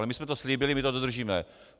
Ale my jsme to slíbili, my to dodržíme.